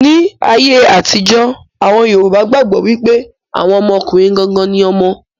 Ní ayé àtijó, àwọn yorùbá gbàgbọ́ wípé àwọn ọmọkùnrin gangan ni ọmọ.